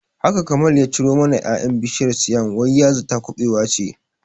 Haka Kamal ya ciro mana ƴaƴan bishiyar siam wai ya zata kubewa ce